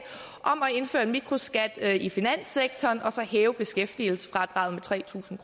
indføre en mikroskat i finanssektoren og så hæve beskæftigelsesfradraget med tre tusind